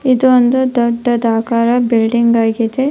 ಇದು ಒಂದು ದೊಡ್ಡ ಆಕಾರ ಬಿಲ್ಡಿಂಗ್ ಆಗಿದೆ.